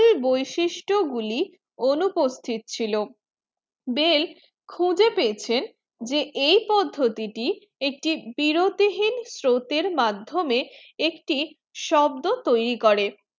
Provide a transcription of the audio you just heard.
বিশিষ্ট গুলি অনুপস্থিত ছিল bell খুঁজে পেয়েছেন যে এই পদ্ধতি একটি বিরতিহীন স্রোতে মাধমিয়ে একটি শব্দ তয়রি করে